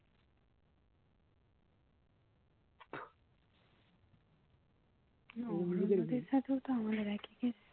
না অন্যদের সাথেও তো আমাদের একই case